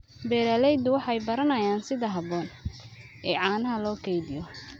Beeraleydu waxay baranayaan sida habboon ee caanaha loo kaydiyo.